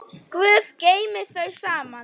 Guð geymi þau saman.